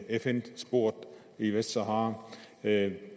fn sporet i vestsahara det